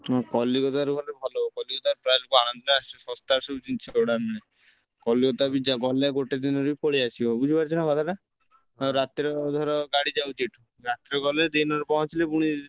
ହଁ Kolkata ରୁ ଭଲ ହବ Kolkata ରୁ trial କୁ ଆଣନ୍ତି ନା ସେ ଶସ୍ତା ରେ ସବୁ ଜିନିଷ ସେଗୁଡାରେ ମିଳେ Kolkata ବି ଗଲେ ଗୋଟେ ଦିନରେ ପଳେଇ ଆସିବ ବୁଝି ପାରୁଛ ନା କଥା ଟା ରାତିରେ ଧର ଗାଡି ଯାଉଛି ଏଠୁ ରାତିରେ ଗଲେ ଦିନ ରେ ପହଁଚିଲେ ପୁଣି